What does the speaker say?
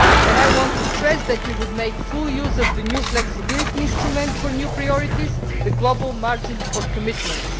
I want to stress that we would make full use of the new flexibility instrument for new priorities and the global margin for commitments.